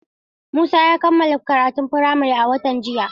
Musa ya kammala karatun firamare a watan jiya.